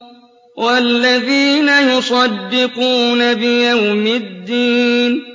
وَالَّذِينَ يُصَدِّقُونَ بِيَوْمِ الدِّينِ